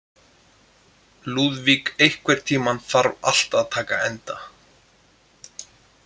Lúðvík, einhvern tímann þarf allt að taka enda.